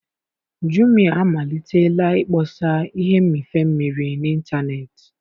Jumiya amalitela ịkpọsa ihe mmịfe mmiri n'ịntanetị.